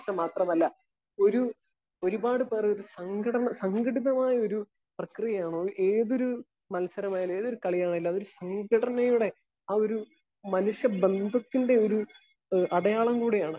Speaker 1 മാത്രമല്ല ഒരു ഒരു പാട് പേര് സങ്കടം സംഘടിതമായ ഒരു പ്രക്രിയയാണോ അവർക്ക് ഏതൊരു മത്സരമായാലും ഏതൊരു കളി ആണെങ്കിലും ഘടനയുടെ ആഹ് ഒരു മനുഷ്യ ബന്ധത്തിന്റെ ഒരു അടയാളം കൂടിയാണ്.